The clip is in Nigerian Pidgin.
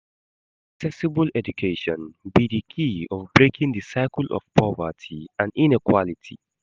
accessible education be di key of breaking di cycle of poverty and inequality.